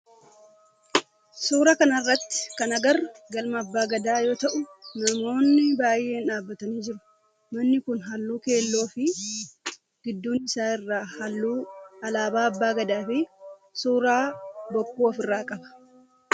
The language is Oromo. Suuraa kana irratti kan agarru galma abbaa Gadaa yoo ta'u namoonni baayyeen dhaabbatanii jiru. Manni kun halluu keelloo fi gidduu isaa irraa halluu alaabaa abbaa Gadaa fi suuraa bokkuu of irraa qaba.